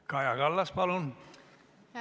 Kaja Kallas, palun!